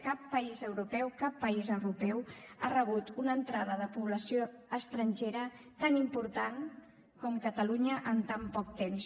cap país europeu cap país europeu ha rebut una entrada de població estrangera tan important com catalunya en tan poc temps